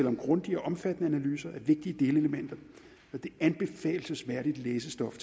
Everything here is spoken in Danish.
om grundige og omfattende analyser af vigtige delelementer og det er anbefalelsesværdigt læsestof